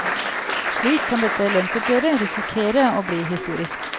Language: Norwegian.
Slik kan dette lønnsoppgjeret risikere å bli historisk.